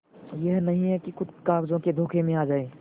यह नहीं कि खुद ही कागजों के धोखे में आ जाए